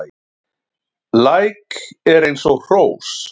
Læk er eins og hrós